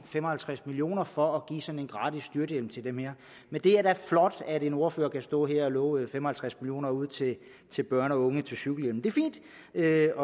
fem og halvtreds million kroner for at give sådan en gratis cykelhjelm til dem her men det er da flot at en ordfører kan stå her og love fem og halvtreds million kroner ud til til børn og unge til cykelhjelme det er